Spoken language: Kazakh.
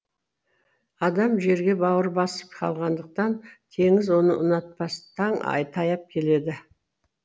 адам жерге бауыр басып қалғандықтан теңіз оны ұнатпас таң таяп келеді